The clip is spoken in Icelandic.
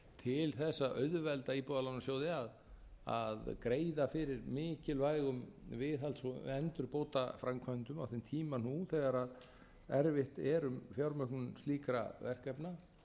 að auðvelda íbúðalánasjóði að greiða fyrir mikilvægum viðhalds og endurbótaframkvæmdum á þeim tíma nú þegar erfitt er um fjármögnun slíkra verkefna